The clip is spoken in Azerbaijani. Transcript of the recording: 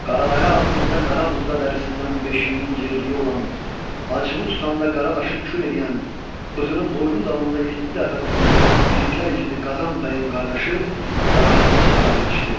Qaradərə ağzında qara buğda dərisindən beşiyinin yerliyi olan, acığı tutanda qara daşı kül eləyən, bığını boynu dalında yeddi dəfə düyünləyən igidlər igidi Qazan Bəyin qardaşı Qara Büqə çaparaq yetişdi.